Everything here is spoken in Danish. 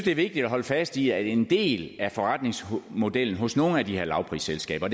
er vigtigt at holde fast i at en del af forretningsmodellen hos nogle af de her lavprisselskaber